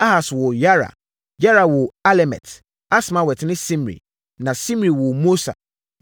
Ahas woo Yara. Yara woo Alemet, Asmawet ne Simri. Na Simri woo Mosa.